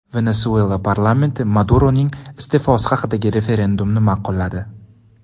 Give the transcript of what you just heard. Venesuela parlamenti Maduroning iste’fosi haqidagi referendumni ma’qulladi.